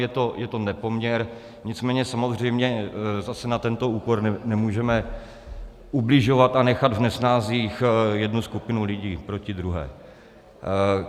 Je to nepoměr, nicméně samozřejmě zase na tento úkor nemůžeme ubližovat a nechat v nesnázích jednu skupinu lidí proti druhé.